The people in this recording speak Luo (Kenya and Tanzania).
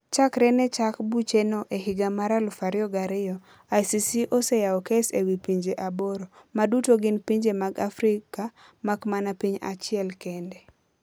Chakre ne chak bucheno e higa mar 2002, ICC oseyawo kes e wi pinje aboro - ma duto gin pinje mag Afrika mak mana piny achiel kende.